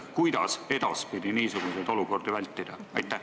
Kuidas edaspidi niisuguseid olukordi vältida?